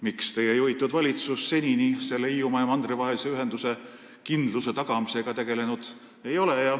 Miks ei ole teie juhitud valitsus senini tegelenud Hiiumaa ja mandri vahelise ühenduse kindluse tagamisega?